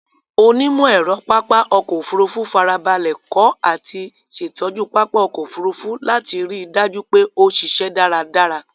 Onímọ̀-ẹ̀rọ pápá ọkọ̀ Òfurufú farabalẹ̀ kọ́ àti ṣẹ̀tọ́jú pápá ọkọ̀ Òfurufú láti ri dájú pé ó ṣíṣẹ́ dáradára.